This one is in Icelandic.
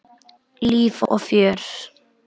Líf og fjör.